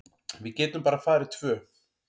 Við getum bara farið tvö.